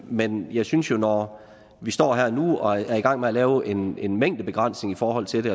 men jeg synes jo at når vi står her nu og er i gang med at lave en en mængdebegrænsning i forhold til det